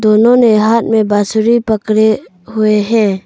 उन्होंने हाथ में बांसुरी पकड़े हुए हैं।